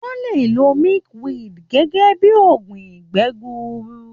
Wọ́n le lo milkweed gẹ́gẹ́ bí i oògùn ìgbẹ́ gbuuru.